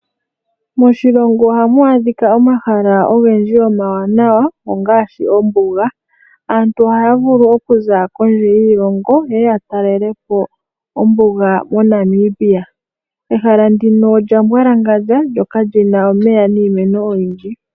Moshilongo ohamu adhika omahala ogendji omawanawa ongaashi ombuga. Aantu ohaya vulu okuza kondje yiilongo yeye yatalelepo ombuga moNamibia . Ehala ndino olya mbwalangandja, lyo ka li na omeya niimeno oyindji.